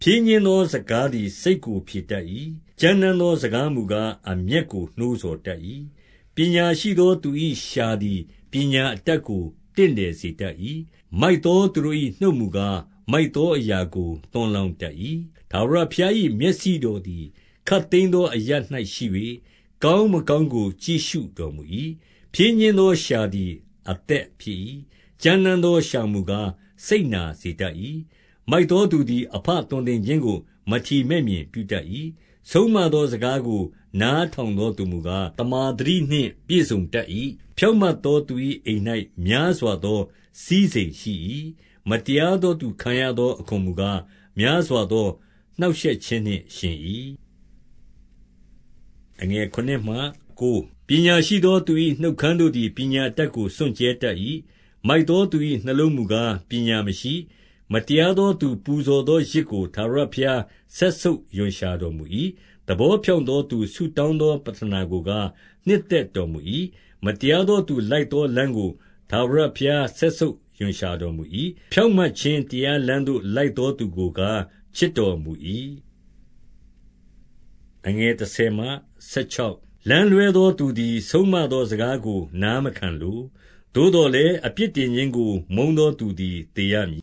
ဖြည်းညှင်းသော စကားသည် စိတ်ကိုဖြေတတ် ၏။ ကြမ်းတမ်းသောစကားမူကား၊ အမျက်ကို နှိုးဆော် တတ်၏။ 2 ပညာရှိသော သူ၏လျှာသည် ပညာအတတ်ကို တင့်တယ်စေတတ်၏။ မိုက်သောသူတို့၏ နှုတ်မူကား၊ မိုက်သောအရာကို သွန်းလောင်းတတ်၏။ 3 ထာဝရဘုရား၏မျက်စိတော်သည် ခပ်သိမ်း သောအရပ်၌ရှိ၍၊ ကောင်းမကောင်းကို ကြည့်ရှုတော်မူ ၏။ 4 ဖြည်းညှင်းသောလျှာသည် အသက်ဖြစ်၏။ ကြမ်းတမ်းသော လျှာမူကား စိတ်နာစေတတ်၏။ 5 မိုက်သောသူသည် အဘသွန်သင်ခြင်းကို မထီမဲ့ မြင်ပြုတတ်၏။ ဆုံးမသော စကားကို နားထောင်သော သူမူကား၊ သမ္မာသတိနှင့်ပြည့်စုံတတ်၏။ 6 ဖြောင့်မတ်သောသူ၏ အိမ်၌များစွာသော စည်းစိမ်ရှိ၏။ မတရားသော သူခံရသောအခွန်မူကား၊ များစွာသော နှောင့်ရှက်ခြင်းနှင့်ယှဉ်၏။ 7 ပညာရှိသော သူ၏နှုတ်ခမ်းတို့သည် ပညာ အတတ်ကို စွန့်ကြဲတတ်၏။ မိုက်သောသူ၏ နှလုံးမူကား ပညာမရှိ။ 8 မတရားသောသူ ပူဇော်သောယဇ်ကို ထာဝရ ဘုရားစက်ဆုပ် ရွံ့ရှာတော်မူ၏။ သဘောဖြောင့်သောသူ ဆုတောင်းသော ပဌနာကိုကား၊ နှစ်သက်တော်မူ၏။ 9 မတရားသော သူလိုက်သောလမ်းကို ထာဝရ ဘုရားစက်ဆုပ်ရွံရှာတော်မူ၏။ ဖြောင့်မတ်ခြင်း တရား လမ်းသို့ လိုက်သောသူကိုကား ချစ်တော်မူ၏။ 10 လမ်းလွှဲသောသူသည် ဆုံးမသောစကားကို နားမခံလို။ သို့သော်လည်း၊ အပြစ်တင်ခြင်းကို မုန်းသော သူသည် သေရမည်